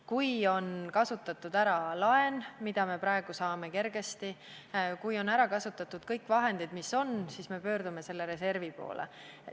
Kui on kasutatud ära laen, mida me praegu saame kergesti, ja kui on kasutatud ära kõik muud vahendid, mis meil on, siis me pöördume selle reservi poole.